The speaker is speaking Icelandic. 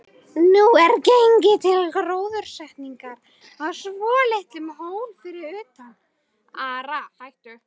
Nú er gengið til gróðursetningar á svolitlum hól fyrir utan